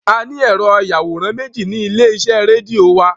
A ní Ẹ̀rọ-ìyàwòrán méjì ní ilé-iṣẹ́ rédíò wa.